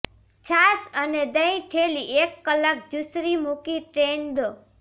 છાશ અને દહીં થેલી એક કલાક ઝૂંસરી મૂકી ડ્રેઇન દો